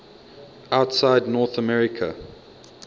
outside north america